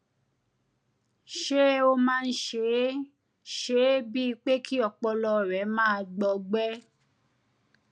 ṣé ó máa ń ṣe é ṣe é bíi pé kí ọpọlọ rẹ máa gbọ ọgbẹ́